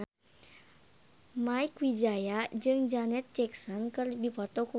Mieke Wijaya jeung Janet Jackson keur dipoto ku wartawan